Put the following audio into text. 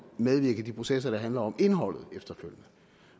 medvirke i de processer der handler om indholdet